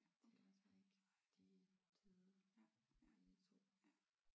Det er der ikke. De er døde begge to